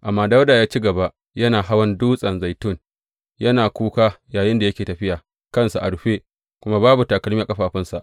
Amma Dawuda ya ci gaba yana hawan Dutsen Zaitun, yana kuka yayinda yake tafiya; kansa a rufe, kuma babu takalma a ƙafafunsa.